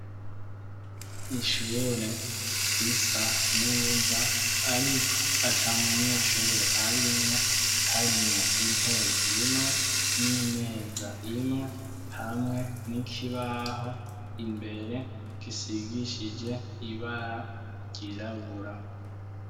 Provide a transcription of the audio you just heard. Ishure risa neza ariko ata munyeshure arimwo harimwo intebe imwe n'imeza imwe hamwe n'ikibaho imbere gisigishije ibara ryirabura.